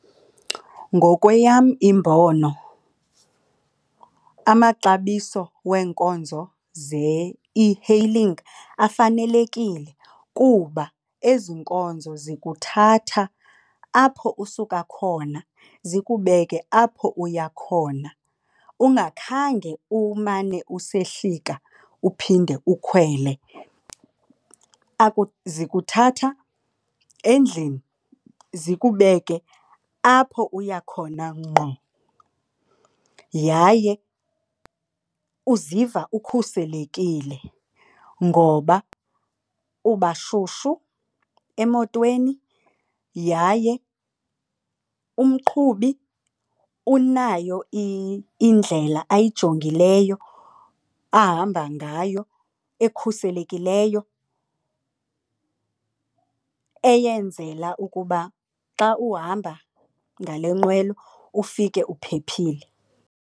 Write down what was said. Ngokweyam imbono amaxabiso weenkonzo ze-e-hailing afanelekile kuba ezi nkonzo ziyokuthatha apho usuka khona zikubee apho uya khona ungakhange umane usehlika uphinde ukhwele. Zikuthatha endlini zikubeke apho uya khona ngqo yaye uziva ukhuselekile ngoba ubashushu emotweni yaye umqhubi unayo indlela ayijongileyo ahamba ngayo ekhuselekileyo eyenzela ukuba xa uhamba ngale nqwelo ufike uphephile.